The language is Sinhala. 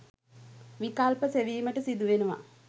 විකල්ප සෙවීමට සිදුවෙනවා